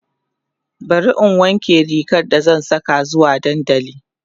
bari in wanke rigar da zan Saka zuwa dandali